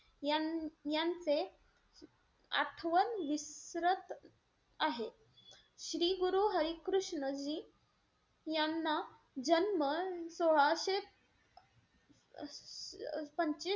यान यांचे आठवण विसरत आहे. श्री गुरु हरी कृष्णजी यांना जन्म सोळाशे अं पंचवीस